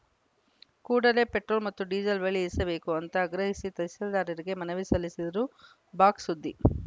ಕೂಡಲೇ ಪೆಟ್ರೋಲ್‌ ಮತ್ತು ಡೀಸೆಲ್‌ ಬೆಲೆ ಇಳಿಸಬೇಕು ಎಂದು ಆಗ್ರಹಿಸಿ ತಹಸೀಲ್ದಾರರಿಗೆ ಮನವಿ ಸಲ್ಲಿಸಿದರು ಬಾಕ್ಸ್‌ ಸುದ್ದಿ